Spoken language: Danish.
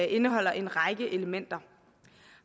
indeholder en række elementer